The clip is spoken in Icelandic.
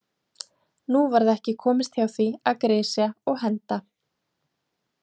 Nú varð ekki komist hjá því að grisja og henda.